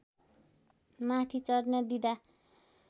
माथि चढ्न दिँदा